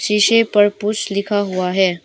शीशे पर पुश लिखा हुआ है।